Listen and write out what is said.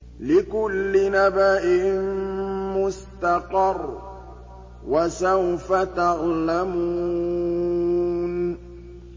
لِّكُلِّ نَبَإٍ مُّسْتَقَرٌّ ۚ وَسَوْفَ تَعْلَمُونَ